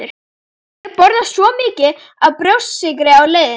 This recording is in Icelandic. Ég borðaði svo mikið af brjóstsykri á leiðinni